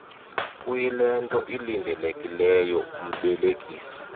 kuyilento ilindelekileyo umbelekisi